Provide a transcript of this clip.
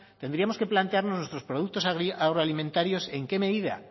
tendríamos que plantearnos nuestros productos agroalimentarios en qué medida